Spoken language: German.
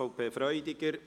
, SVP/Freudiger.